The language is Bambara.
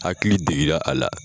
Hakili degela a la